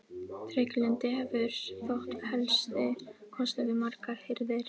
Trygglyndi hefur þótt helsti kostur við margar hirðir.